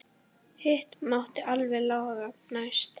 Hitt mátti alltaf laga næst.